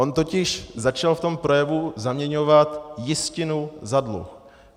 On totiž začal v tom projevu zaměňovat jistinu za dluh.